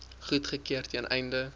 goedgekeur ten einde